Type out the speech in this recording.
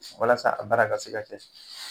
Walasa a baara ka se ka kɛ.